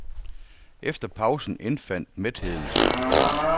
Efter pausen indfandt mætheden sig.